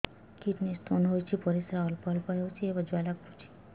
kidney stone ହୋଇଛି ପରିସ୍ରା ଅଳ୍ପ ଅଳ୍ପ ହେଉଛି ଏବଂ ଜ୍ୱାଳା କରୁଛି